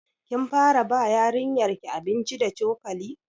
Kin fara ba yarinyar ki abinci da cokali?